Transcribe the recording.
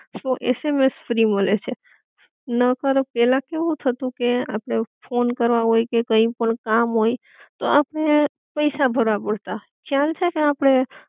સો SMS free મલે છે, નકર પેલા કેવું થતું કે આપડે ફોન કરવા હોય કે કઈ પણ કામ હોય તો આપડે પૈસા ભરવા પડતાં, ખ્યાલ છે કે? આપડે